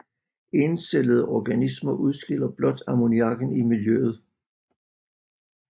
Encellede organismer udskiller blot ammoniakken i miljøet